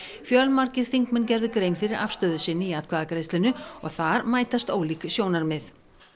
fjölmargir þingmenn gerðu grein fyrir afstöðu sinni í atkvæðagreiðslunni og þar mætast ólík sjónarmið